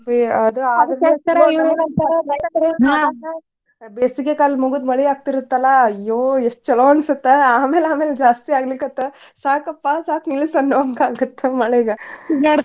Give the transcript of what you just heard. ಬೇಸಿಗೆಕಾಲ ಮುಗದ ಮಳಿ ಆಗ್ತಿರತ್ತಲ್ಲಾ ಅಯ್ಯೋ ಎಷ್ಟ್ ಚುಲೊ ಅನಿಸತ್ತ ಆಮೇಲ್ ಆಮೇಲ್ ಜಾಸ್ತಿ ಆಗ್ಲಿಕತ್ ಸಾಕಪ್ಪಾ ಸಾಕು ನಿಲ್ಲಸ ಅನ್ನಂಗ ಆಗತ್ತ ಮಳಿಗೆ.